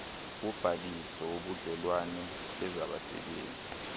wobhaliso wobudlelwane bezabasebenzi